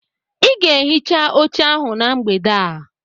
Ị ga-ehicha oche ahụ na mgbede a.